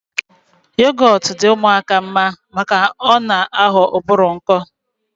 Yogọt di ụmụaka mma maka na ọ na aghọ ụbụrụ nkọ